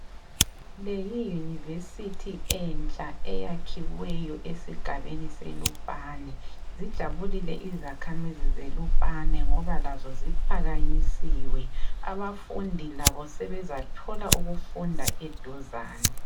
Le yiyunivesithi entsha eyakhiweyo esigabeni seLupane. Zijabulile izakhamizi zeLupane ngoba lazo ziphakanyisiwe, abafundi labo sebezathola ukufunda eduzane.